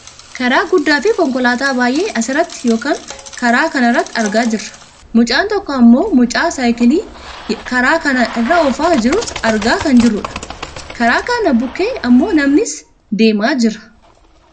Karaa guddaafi konkolaataa baayyee asirratti yookaan karaa karaa kanarratti argaa jirra. Mucaan tokko ammoo mucaa saayikilii karaa kana irra oofaa jirus argaa kan jirrudha. Karaa kana bukkee ammoo namnis deemaa jira.